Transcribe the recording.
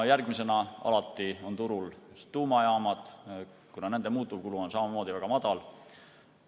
Järgmisena, alati on turul tuumajaamad, kuna nende muutuvkulu on samamoodi väga madal.